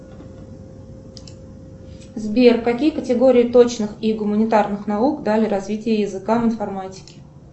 сбер какие категории точных и гуманитарных наук дали развитие языка в информатике